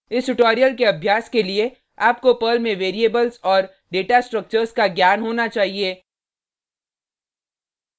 इस ट्यूटोरियल के अभ्यास के लिए आपको पर्ल में वेरिएबल्स और डेटा स्ट्रक्चर्स का ज्ञान होना चाहिए